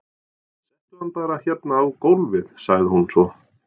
Settu hann bara hérna á gólfið, sagði hún svo.